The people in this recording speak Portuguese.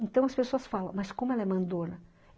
Então, as pessoas falam, mas como ela é mandora